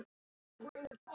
Þetta helst alltaf í hendur.